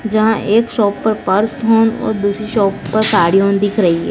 जहां एक शॉप पर पर्स होम और दूसरी शॉप पर साड़ी होम दिख रही--